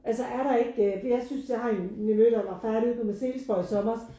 Altså er der ikke for jeg synes jeg har en nevø der var færdig ude på Marselisborg i sommers